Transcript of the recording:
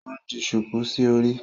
O n di shuku sí orí